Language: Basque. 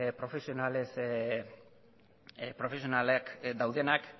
profesionalez profesionalak daudenak